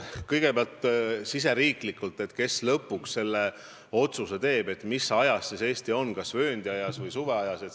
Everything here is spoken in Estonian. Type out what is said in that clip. Kõigepealt sellest, kes meil lõpuks teeb otsuse, mis ajas Eesti elama hakkab, kas vööndiajas või suveajas.